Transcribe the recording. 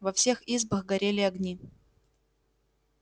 во всех избах горели огни